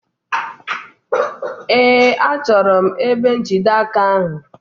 Ee, achọrọ m ebe njide aka ahụ.